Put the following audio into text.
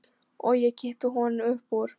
Og ég kippi honum upp úr.